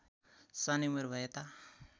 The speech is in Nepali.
सानै उमेर भएता